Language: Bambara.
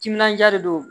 Timinandiya de don